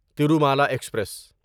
Tirumala express